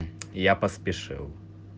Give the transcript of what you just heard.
я поспешил